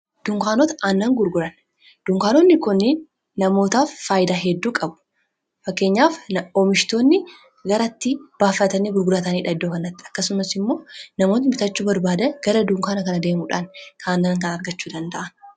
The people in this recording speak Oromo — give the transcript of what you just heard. duunkaanota aannan gurguran dunkaanonni konni namootaaf faayidaa hedduu qabu fakkeenyaaf omishtoonni garatti baafatani gurgurataniidha iddookannatti akkasumas immoo namoota mitachuu barbaada gara duunkaana kana deemuudhaan kaannan kan argachuu danda'a